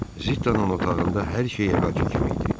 Zittanın otağında hər şey əvvəlki kimi idi.